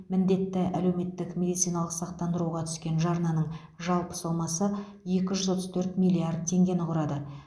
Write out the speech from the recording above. міндетті әлеуметтік медициналық сақтандыруға түскен жарнаның жалпы сомасы екі жүз отыз төрт миллиард теңгені құрады